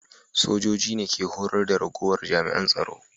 Sojoji ne ke horar da ragowar jami'an tsaro